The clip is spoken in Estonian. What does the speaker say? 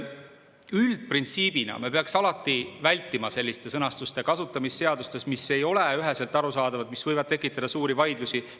Üldprintsiibina me peaks alati vältima selliste sõnastuste kasutamist seadustes, mis ei ole üheselt arusaadavad, mis võivad tekitada suuri vaidlusi.